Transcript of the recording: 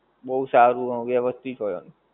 બઉ સારું અને વ્યવસ્થિત હોય.